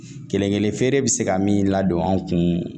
Kelen kelen feere bɛ se ka min ladon an kun